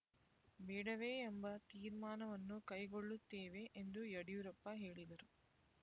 ಬೇಡವೇ ಎಂಬ ತೀರ್ಮಾನವನ್ನು ಕೈಗೊಳ್ಳುತ್ತೇವೆ ಎಂದು ಯಡಿಯೂರಪ್ಪ ಹೇಳಿದರು